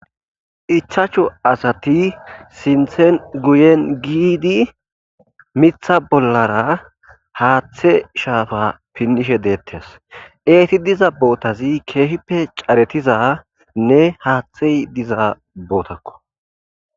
ichachu asati sinthen guyen giidi mitha bollara haaththe shaafa pinnishe deettes eeti diza bootazi keehippe caretiza nne haaththey diza bootakko